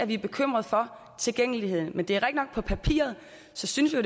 vi er bekymrede for tilgængeligheden men det er rigtigt nok at på papiret synes vi